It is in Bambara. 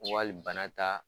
Wali bana ta